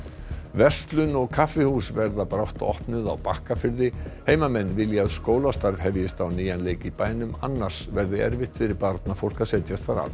verslun og kaffihús verða brátt opnuð á Bakkafirði heimamenn vilja að skólastarf hefjist á nýjan leik í bænum annars verði erfitt fyrir barnafólk að setjast þar að